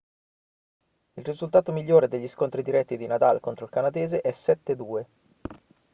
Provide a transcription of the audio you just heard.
il risultato migliore degli scontri diretti di nadal contro il canadese è 7-2